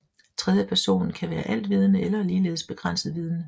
Tredjepersonen kan være altvidende eller ligeledes begrænset vidende